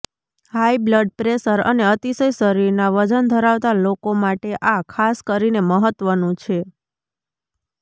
high blood pressure અને અતિશય શરીરના વજન ધરાવતા લોકો માટે આ ખાસ કરીને મહત્વનું છે